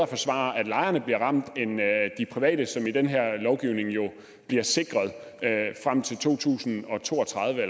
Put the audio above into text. forsvare at lejerne bliver ramt end at de private som i den her lovgivning jo bliver sikret frem til to tusind og to og tredive